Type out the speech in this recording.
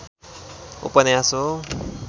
उपन्यास हो।